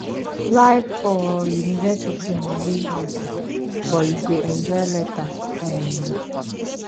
life for university na real hustle but you go enjoy later um